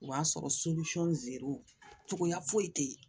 O b'a sɔrɔ zeriw cogoya foyi tɛ yen